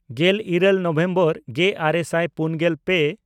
ᱜᱮᱞᱤᱨᱟᱹᱞ ᱱᱚᱵᱷᱮᱢᱵᱚᱨ ᱜᱮᱼᱟᱨᱮ ᱥᱟᱭ ᱯᱩᱱᱜᱮᱞ ᱯᱮ